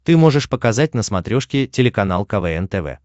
ты можешь показать на смотрешке телеканал квн тв